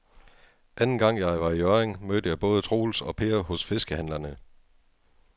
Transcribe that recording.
Anden gang jeg var i Hjørring, mødte jeg både Troels og Per hos fiskehandlerne.